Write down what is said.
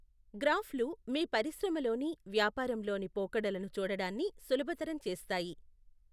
గ్రాఫ్లు మీ పరిశ్రమలోని, వ్యాపారంలోని పోకడలను చూడడాన్ని సులభతరం చేస్తాయి.